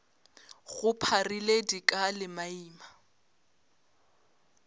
go pharile dika le maina